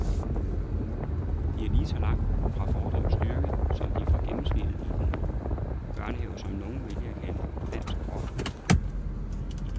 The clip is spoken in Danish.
De er lige så langt fra fordums styrke, som de er fra gennemsnittet i den børnehave, som nogle vælger at kalde dansk rock.